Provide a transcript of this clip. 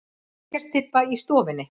Reykjarstybba í stofunni.